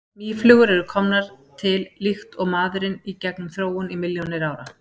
Mýflugur eru komnar til líkt og maðurinn í gegnum þróun í milljónir ára.